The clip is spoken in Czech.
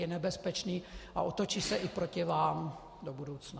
Je nebezpečný a otočí se i proti vám do budoucna.